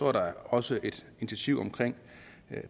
er der også et initiativ omkring